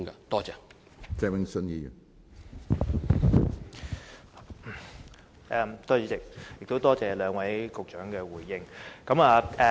多謝主席，也多謝兩位局長作出回應。